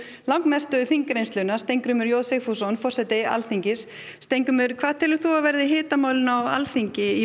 langmesta þingreynslu Steingrímur j Sigfússon forseti Alþingis Steingrímur hver telur þú að verði hitamálin á Alþingi í